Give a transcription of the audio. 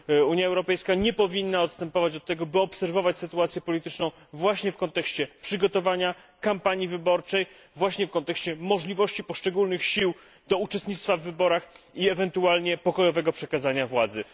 Unia Europejska nie powinna odstępować od tego, by obserwować sytuację polityczną właśnie w kontekście przygotowania, kampanii wyborczej, właśnie w kontekście możliwości poszczególnych sił do uczestnictwa w wyborach i ewentualnie pokojowego przekazania władzy.